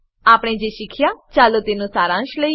આપણે જે શીખ્યા ચાલો તેનો સારાંશ લઈએ